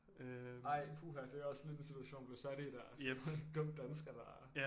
Ej puha det er også lidt en situation at blive sat i der som dum dansker der